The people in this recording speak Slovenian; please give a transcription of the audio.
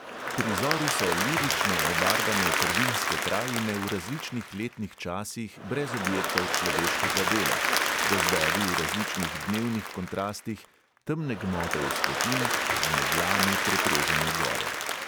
Prizori so lirično obarvane prvinske krajine v različnih letnih časih brez objektov človeškega dela, gozdovi v različnih dnevnih kontrastih, temne gmote vzpetin, z meglami preprežene gore.